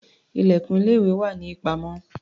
Ilẹ̀kùn ilé-ìwé wà ní ìpamọ́.